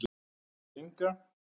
Þær Inga